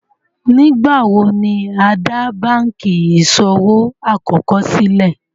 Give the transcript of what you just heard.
Nígbàwọ̀ ni á dá bankí iṣọwọ̀ àkọ́kọ̀ sílẹ̀?